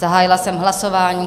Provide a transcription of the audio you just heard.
Zahájila jsem hlasování.